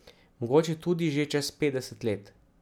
Mogoče tudi že čez petdeset let.